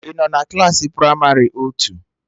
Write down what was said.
I nọ Klassị pramarị otu?